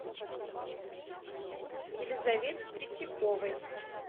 елизавете третьяковой